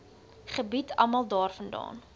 gebied almal daarvandaan